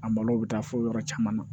A malo bɛ taa fo yɔrɔ caman na